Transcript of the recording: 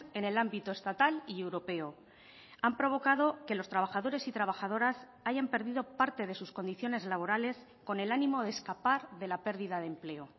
en el ámbito estatal y europeo han provocado que los trabajadores y trabajadoras hayan perdido parte de sus condiciones laborales con el ánimo de escapar de la pérdida de empleo